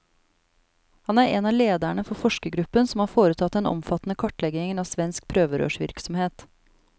Han er en av lederne for forskergruppen som har foretatt den omfattende kartleggingen av svensk prøverørsvirksomhet.